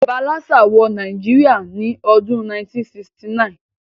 Ibà lassa wo Naijiria ni odún 1969